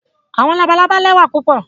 Àwọn làbàlábá lẹwà pupọ